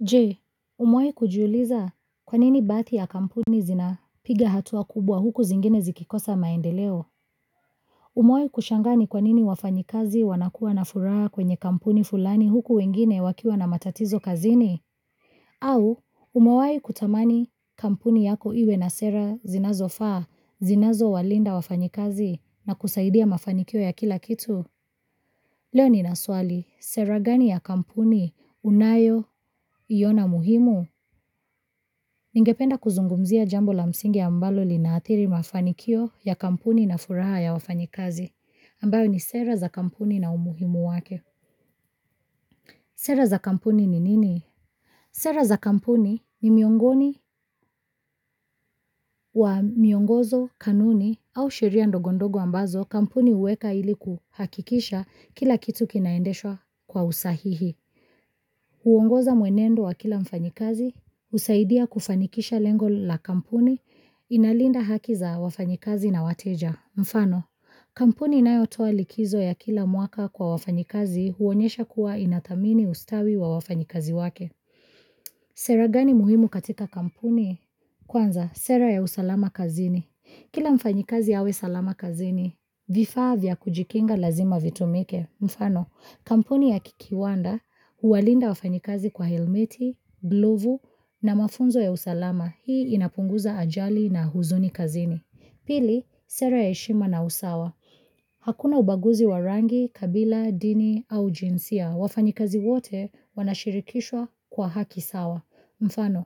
Je, umawahi kujiuliza kwanini baadhi ya kampuni zina piga hatua kubwa huku zingine zikikosa maendeleo? Umawahi kushangaa ni kwanini wafanyakazi wanakuwa na furaha kwenye kampuni fulani huku wengine wakiwa na matatizo kazini? Au, umawahi kutamani kampuni yako iwe na sera zinazo faa, zinazo walinda wafanyakazi na kusaidia mafanikio ya kila kitu? Leo nina swali, sera gani ya kampuni, unayo, iona muhimu? Ningependa kuzungumzia jambo la msingi ambalo linaathiri mafanikio ya kampuni na furaha ya wafanyakazi, ambayo ni sera za kampuni na umuhimu wake. Sera za kampuni ni nini? Sera za kampuni ni miongoni wa miongozo kanuni au sheria ndogondogo ambazo kampuni huweka iliku hakikisha kila kitu kinaendeshwa kwa usahihi. Huongoza mwenendo wa kila mfanyakazi, husaidia kufanikisha lengo la kampuni, inalinda haki za wafanyakazi na wateja. Mfano, kampuni inayotoa likizo ya kila mwaka kwa wafanyakazi huonyesha kuwa inathamini ustawi wa wafanyikazi wake. Sera gani muhimu katika kampuni? Kwanza, sera ya usalama kazini. Kila mfanyakazi awe salama kazini, vifaa vya kujikinga lazima vitumike. Mfano, kampuni ya kiwanda huwalinda wafanyakazi kwa helmeti, glovu na mafunzo ya usalama. Hii inapunguza ajali na huzuni kazini. Pili, sera ya heshima na usawa. Hakuna ubaguzi wa rangi, kabila, dini au jinsia. Wafanyakazi wote wanashirikishwa kwa haki sawa. Mfano,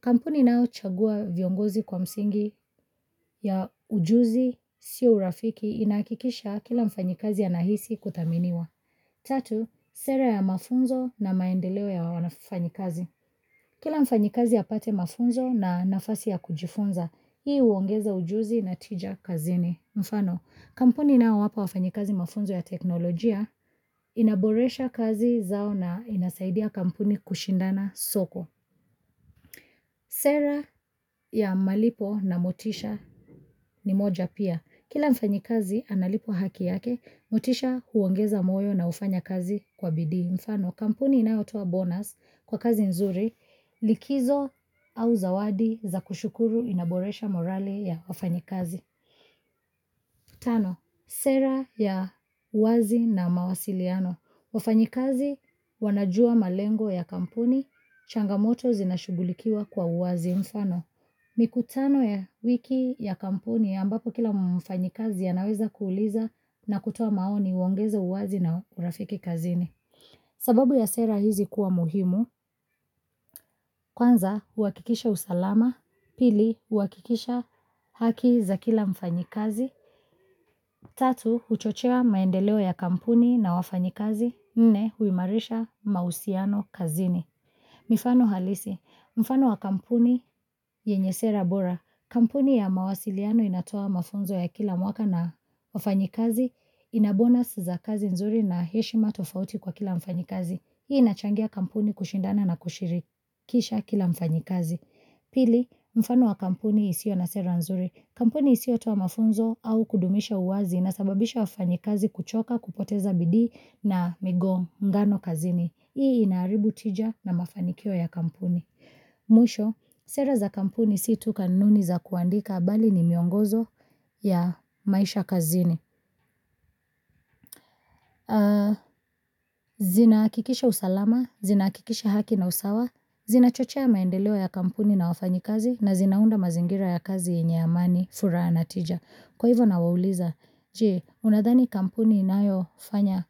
kampuni inayo chagua viongozi kwa msingi ya ujuzi sio urafiki inakikisha kila mfanyakazi anahisi kuthaminiwa. Tatu, sera ya mafunzo na maendeleo ya wanafanyakazi. Kila mfanyakazi apate mafunzo na nafasi ya kujifunza, hii uongeza ujuzi na tija kazini. Mfano, kampuni inayowapa wafanyakazi mafunzo ya teknolojia inaboresha kazi zao na inasaidia kampuni kushindana soko. Sera ya malipo na motisha ni moja pia, kila mfanyakazi analipwa haki yake, motisha huongeza moyo na ufanya kazi kwa bidii. Mfano kampuni inayotoa bonus kwa kazi nzuri, likizo au zawadi za kushukuru inaboresha morali ya wafanyakazi Tano, sera ya wazi na mawasiliano wafanyakazi wanajua malengo ya kampuni changamoto zinashugulikiwa kwa uwazi mfano, mikutano ya wiki ya kampuni ambapo kila mfanyakazi anaweza kuuliza na kutua maoni huongeza uwazi na urafiki kazini. Sababu ya sera hizi kuwa muhimu, kwanza huwakikisha usalama, pili huwakikisha haki za kila mfanyakazi, tatu huchochea maendeleo ya kampuni na wafanyakazi, nne huimarisha mahusiano kazini. Mifano halisi. Mfano wa kampuni yenye sera bora. Kampuni ya mawasiliano inatoa mafunzo ya kila mwaka na wafanyakazi. Inabonas za kazi nzuri na heshima tofauti kwa kila mfanyakazi. Hii inachangia kampuni kushindana na kushiriki Kisha kila mfanyikazi. Pili, mfano wa kampuni isiyo na sera nzuri. Kampuni isiyo toa mafunzo au kudumisha uwazi inasababisha wafanyakazi kuchoka, kupoteza bidii na migongano kazini. Hii inaharibu tija na mafanikio ya kampuni. Mwisho, sera za kampuni si tu kanuni za kuandika bali ni miongozo ya maisha kazini. Zina hakikisha usalama, zina hakikisha haki na usawa, zina chochea maendeleo ya kampuni na wafanyakazi na zinaunda mazingira ya kazi yenye amani furaha na tija. Kwa hivyo nawauliza Je, unadhani kampuni inayofanya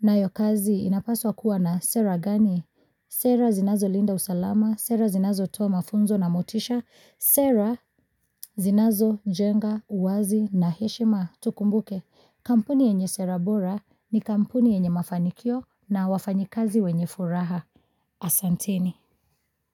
nayo kazi inapaswa kuwa na sera gani? Sera zinazo linda usalama, sera zinazo toa mafunzo na motisha, sera zinazo jenga, uwazi na heshima? Tukumbuke, kampuni yenye sera bora ni kampuni yenye mafanikio na wafanyakazi wenye furaha. Asanteni.